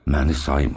Məni saymır.